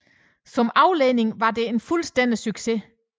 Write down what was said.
Som afledning var det en fuldstændig succes